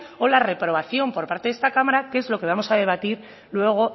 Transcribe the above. o la reprobación por parte de esta cámara que es lo que vamos a debatir luego